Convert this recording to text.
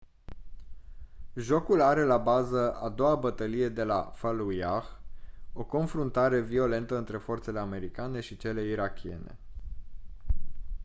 jocul are la bază a doua bătălie de la fallujah o confruntare violentă între forțele americane și cele irakiene